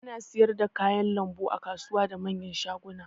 Ana sayar da kayan lambu a kasuwa da manyan shaguna.